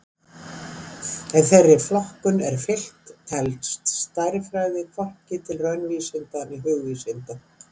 Ef þeirri flokkun er fylgt telst stærðfræði hvorki til raunvísinda né hugvísinda.